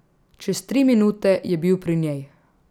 Čez tri minute je bil pri njej.